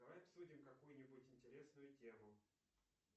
давай обсудим какую нибудь интересную тему